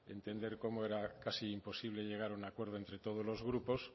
entender cómo era casi imposible llegar a un acuerdo entre todos los grupos